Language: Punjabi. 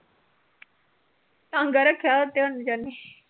ਰੱਖਿਆ ਉਥੇ ਹੁਣ